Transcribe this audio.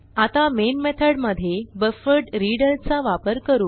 आता मेन मेथडमधे बफरड्रीडर चा वापर करू